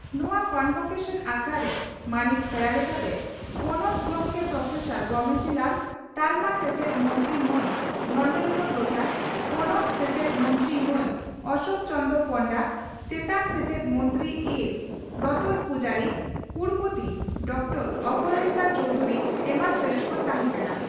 ᱱᱚᱣᱟ ᱠᱚᱱᱵᱷᱚᱠᱮᱥᱚᱱ ᱟᱠᱷᱲᱟᱨᱮ ᱢᱟᱹᱱᱤᱡ ᱯᱮᱲᱟ ᱞᱮᱠᱟᱛᱮ ᱯᱚᱱᱚᱛ ᱜᱚᱢᱠᱮ ᱯᱨᱚᱯᱷᱮᱥᱟᱨ ᱜᱚᱢᱮᱥᱤ ᱞᱟᱞ, ᱛᱟᱞᱢᱟ ᱥᱮᱪᱮᱫ ᱢᱚᱱᱛᱨᱤ ᱢᱟᱱ ᱫᱷᱚᱨᱢᱮᱱᱫᱨᱚ ᱯᱨᱚᱫᱷᱟᱱ, ᱯᱚᱱᱚᱛ ᱥᱮᱪᱮᱫ ᱢᱚᱱᱛᱨᱤ ᱢᱟᱱ ᱚᱥᱚᱠ ᱪᱚᱱᱫᱽᱨᱚ ᱯᱚᱱᱰᱟ, ᱪᱮᱛᱟᱱ ᱥᱮᱪᱮᱫ ᱢᱚᱱᱛᱨᱤ ᱤᱸᱨ ᱨᱚᱦᱛ ᱯᱩᱡᱟᱨᱤ, ᱠᱩᱲᱚᱯᱚᱛᱤ ᱰᱨᱹ ᱚᱯᱚᱨᱟᱡᱤᱛᱟ ᱪᱚᱣᱫᱷᱩᱨᱤ ᱮᱢᱟᱱ ᱥᱮᱞᱮᱫ ᱠᱚ ᱛᱟᱦᱮᱸ ᱠᱟᱱᱟ ᱾